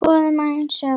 Skoðum aðeins söguna.